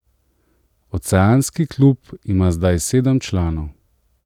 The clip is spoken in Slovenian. Oceanski klub ima zdaj sedem članov.